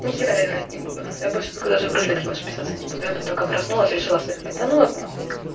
играть не буду я больше даже вряд ли расписаться не буду я только проснулась решила сэкономить тону во снах